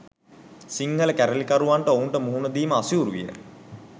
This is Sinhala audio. සිංහල කැරලිකරුවන්ට ඔවුන්ට මුහුණ දීම අසීරු විය.